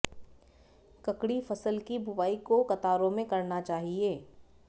ककड़ी फसल की बुवाई को कतारों में करना चाहिए